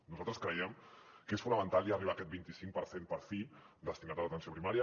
nosaltres creiem que és fonamental ja arribar a aquest vint i cinc per cent per fi destinat a l’atenció primària